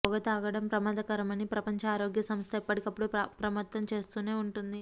పొగ తాగడం ప్రమాదకరమని ప్రపంచ ఆరోగ్య సంస్థ ఎప్పటికప్పుడు అప్రమత్తం చేస్తూనే ఉంటోంది